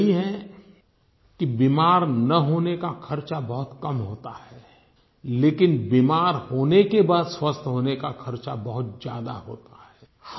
और ये सही है कि बीमार न होने का खर्चा बहुत कम होता है लेकिन बीमार होने के बाद स्वस्थ होने का खर्चा बहुत ज्यादा होता है